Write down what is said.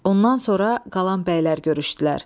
Ondan sonra qalan bəylər görüşdülər.